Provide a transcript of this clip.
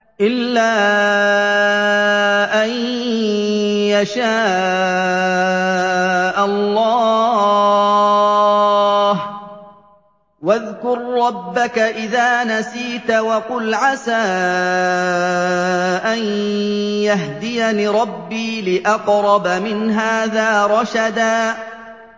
إِلَّا أَن يَشَاءَ اللَّهُ ۚ وَاذْكُر رَّبَّكَ إِذَا نَسِيتَ وَقُلْ عَسَىٰ أَن يَهْدِيَنِ رَبِّي لِأَقْرَبَ مِنْ هَٰذَا رَشَدًا